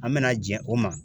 An mena jɛn o ma